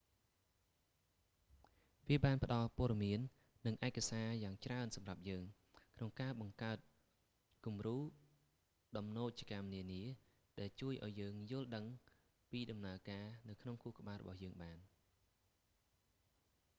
វាបានផ្ដល់ព័ត៌មាននិងឯកសារយ៉ាងច្រើនសម្រាប់យើង ក្នុងការបង្កើតគំរូដំណូចកម្មនានា ដែលជួយឱ្យយើងយល់ដឹងពីដំណើរការនៅក្នុងខួរក្បាលរបស់យើងបាន